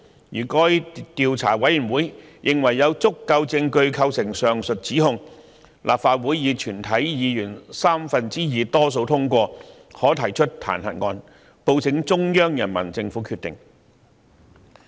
如該調查委員會認為有足夠證據構成上述指控，立法會以全體議員三分之二多數通過，可提出彈劾案，報請中央人民政府決定。